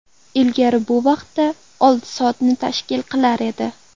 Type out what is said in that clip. Ilgari bu vaqt olti soatni tashkil qilar edi.